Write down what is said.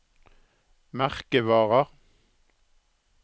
merkevarer